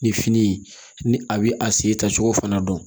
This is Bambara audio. Ni fini ni a bɛ a sen ta cogo fana dɔn